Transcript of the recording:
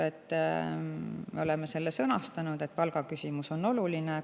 Me oleme sõnastanud selle, et palgaküsimus on oluline.